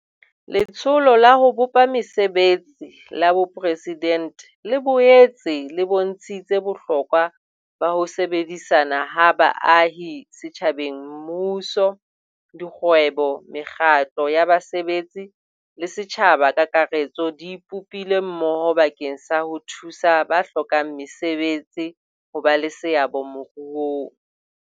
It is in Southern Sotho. Letsholo la ho Bopa Mese betsi la Boporesidente le boetse e bontshitse bohlokwa ba ho sebedisana ha baahi setjhabeng Mmuso, dikgwebo, mekgatlo ya basebetsi le setjhaba ka kakaretso di ipopile mmoho bakeng sa ho thusa ba hlokang mesebetsi ho ba le seabo moruong.